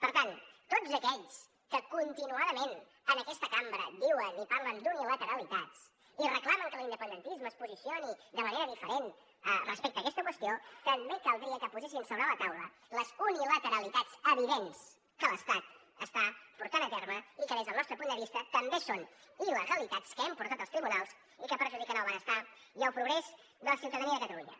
per tant tots aquells que continuadament en aquesta cambra diuen i parlen d’unilateralitats i reclamen que l’independentisme es posicioni de manera diferent respecte a aquesta qüestió també caldria que posessin sobre la taula les unilateralitats evidents que l’estat està portant a terme i que des del nostre punt de vista també són il·legalitats que hem portat als tribunals i que perjudiquen el benestar i el progrés de la ciutadania de catalunya